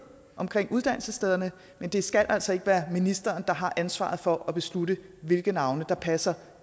omkring uddannelsesstederne men det skal altså ikke være ministeren der har ansvaret for at beslutte hvilke navne der passer